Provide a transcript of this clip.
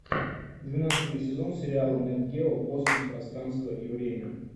двенадцатый сезон сериала нет гео космос пространство и время